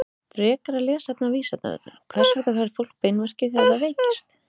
Frekara lesefni á Vísindavefnum: Hvers vegna fær fólk beinverki þegar það veikist?